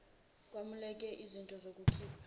kwamukeleke iznto zokukhipha